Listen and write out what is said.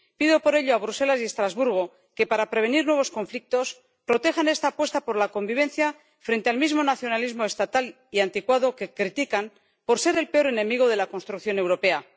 Pido por ello a Bruselas y Estrasburgo que, para prevenir nuevos conflictos, protejan esta apuesta por la convivencia frente al mismo nacionalismo estatal y anticuado que critican por ser el peor enemigo de la construcción europea